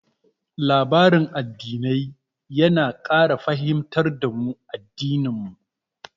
Labarin addinai yana ƙara fahimtar da mu addinan mu.